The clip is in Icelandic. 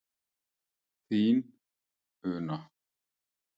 Þín, Una.